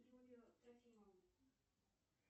юлию трофимовну